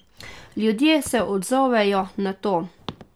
Ljudje se odzovejo na to.